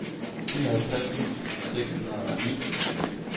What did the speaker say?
nioghalvtreds tusind seks hundrede og ni